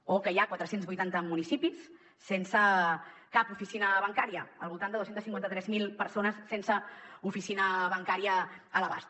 o que hi ha quatre cents i vuitanta municipis sense cap oficina bancària al voltant de dos cents i cinquanta tres mil persones sense oficina bancària a l’abast